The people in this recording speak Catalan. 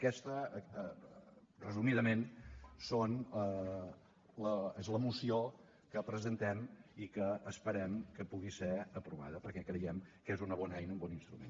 aquesta resumidament és la moció que presentem i que esperem que pugui ser aprovada perquè creiem que és una bona eina i un bon instrument